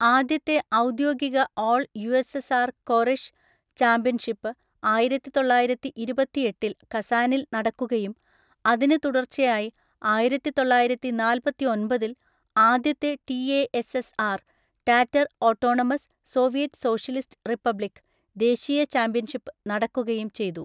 ആദ്യത്തെ ഔദ്യോഗിക all USSR കോറെഷ് ചാമ്പ്യൻഷിപ്പ് ആയിരത്തിത്തൊള്ളായിരത്തിഇരുപത്തിഎട്ടിൽ കസാനിൽ നടക്കുകയും അതിനു തുടർച്ചയായി ആയിരത്തിതൊള്ളായിരത്തിനാല്പത്തിഒൻപതിൽ ആദ്യത്തെ TASSR (Tatar autonomous Soviet socialist republic) ദേശീയ ചാമ്പ്യൻഷിപ്പ് നടക്കുകയും ചെയ്തു.